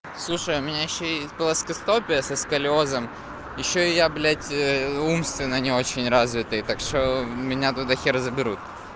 слушай у меня ещё есть плоскостопие со сколиозом ещё и я блять умственно не очень развитый так что меня туда хер заберут